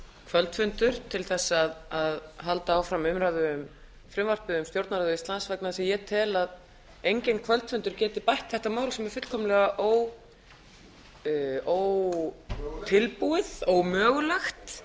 kvöldfundur til að halda áfram umræðu um frumvarpið um stjórnarráð íslands vegna þess að ég tel að enginn kvöldfundur geti bætt þetta mál sem er fullkomlega ótilbúið ómögulegt